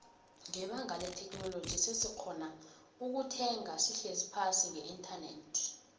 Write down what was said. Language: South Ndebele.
nbebanga letheknoloji sesikgona ukuthenga sihlezi phasi ngeinternet